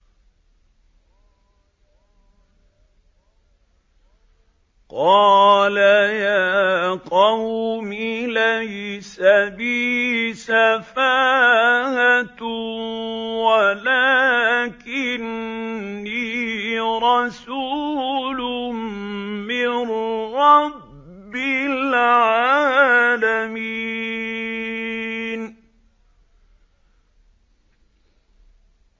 قَالَ يَا قَوْمِ لَيْسَ بِي سَفَاهَةٌ وَلَٰكِنِّي رَسُولٌ مِّن رَّبِّ الْعَالَمِينَ